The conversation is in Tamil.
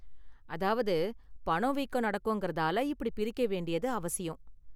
அதாவது, பணவீக்கம் நடக்கும்கிறதால இப்படி பிரிக்க வேண்டியது அவசியம்.